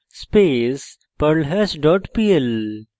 perl space perlhash dot pl